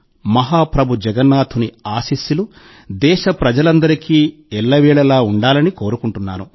మహాప్రభు జగన్నాథుని ఆశీస్సులు దేశప్రజలందరికీ ఎల్లవేళలా ఉండాలని కోరుకుంటున్నాను